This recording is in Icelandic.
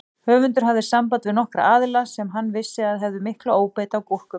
Höfundur hafði samband við nokkra aðila sem hann vissi að hefðu mikla óbeit á gúrkum.